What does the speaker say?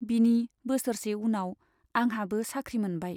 बिनि बोसोरसे उनाव आंहाबो साख्रि मोनबाय।